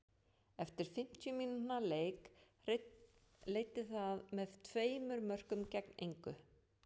Eftir fimmtíu mínútna leik leiddi það með tveimur mörkum gegn engu.